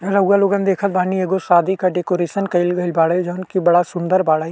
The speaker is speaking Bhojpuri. रउवा लोगन देखत बानी। एगो शादी का डेकोरेशन कइल गइल बाड़े। जउन की बड़ा सुन्दर बाड़े।